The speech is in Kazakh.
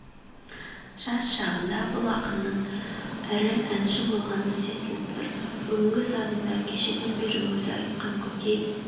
жас шағында бұл ақынның ірі әнші болғаны сезіліп тұр бүгінгі сазында кешеден бері өзі айтқан көкей